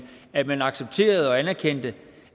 at man accepterede og anerkendte